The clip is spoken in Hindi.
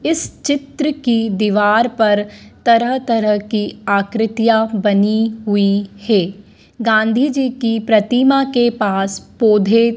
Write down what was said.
इस चित्र की दीवार पर तरह तरह की आकृतियां बनी हुई है गांधी जी की प्रतिमा के पास पौधे--